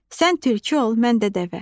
Sən tülkü ol, mən də dəvə.